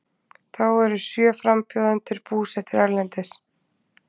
Þá eru sjö frambjóðendur búsettir erlendis